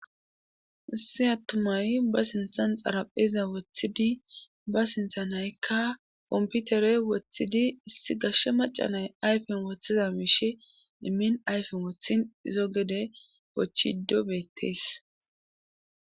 issi attumay ba sinthan xaraphiza woththidi ba sinthanaykka komputere woththidi issi gashshe macanay ayfen woththiza miish immin ayfen wothin izo gede wochido beettees